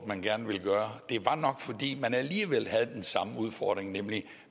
man gerne ville gøre det var nok fordi man alligevel havde den samme udfordring nemlig at